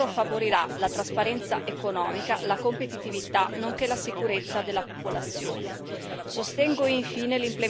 Il miglioramento delle opportunità di lavoro favorirà la trasparenza economica, la competitività, nonché la sicurezza della popolazione.